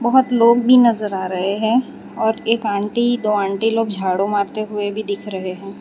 बहुत लोग भी नजर आ रहे हैं और एक आंटी दो आंटी लोग झाड़ू मारते हुए भी दिख रहे हैं।